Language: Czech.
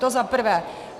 To za prvé.